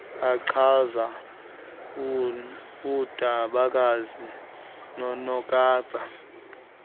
achaza undabakazi nonokapa